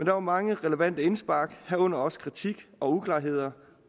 var mange relevante indspark herunder også kritik og uklarheder